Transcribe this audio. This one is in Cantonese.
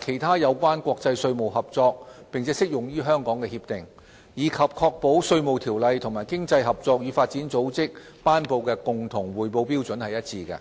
及其他有關國際稅務合作並適用於香港的協定，以及確保《稅務條例》與經濟合作與發展組織頒布的共同匯報標準一致。